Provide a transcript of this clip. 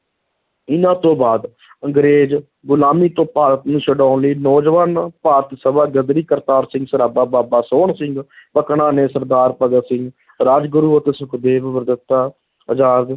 ਇਨਾਂ ਤੋਂ ਬਾਅਦ ਅੰਗਰੇਜ਼ ਗੁਲਾਮੀ ਤੋਂ ਭਾਰਤ ਨੂੰ ਛੁਡਾਉਣ ਲਈ ਨੌਜਵਾਨ ਭਾਰਤ ਸਭਾ, ਗ਼ਦਰੀ ਕਰਤਾਰ ਸਿੰਘ ਸਰਾਭਾ, ਬਾਬਾ ਸੋਹਨ ਸਿੰਘ ਭਕਨਾ ਨੇ ਸਰਦਾਰ ਭਗਤ ਸਿੰਘ ਰਾਜਗੁਰੂ ਅਤੇ ਸੁਖਦੇਵ ਅਜ਼ਾਦ